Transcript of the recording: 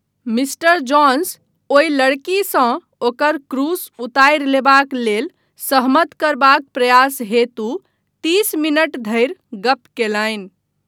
Mister Jones ओहि लड़कीसँ ओकर क्रूस उतारि लेबाक लेल सहमत करबाक प्रयास हेतु तीस मिनट धरि गप कयलनि।